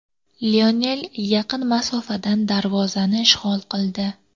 Lionel yaqin masofadan darvozani ishg‘ol qildi.